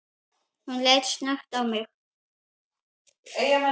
Hún leit snöggt á mig